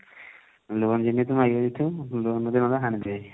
loan ଯେମିତି ହେଲେ ଆସିକି ମାଗିବା କଥା loan ନଦେଲେ ହାଣିଦେବେ